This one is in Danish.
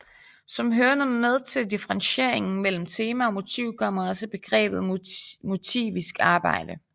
Som hørende med til differentieringen mellem tema og motiv kommer også begrebet motivisk arbejde